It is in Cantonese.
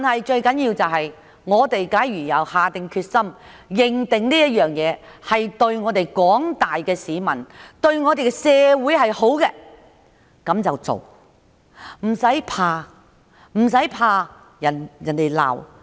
最重要的是，只要下定決心、認定事情對廣大市民及社會是好的，便應該去做，無需害怕被人責罵。